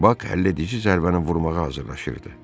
Bak həlledici zərbəni vurmağa hazırlaşırdı.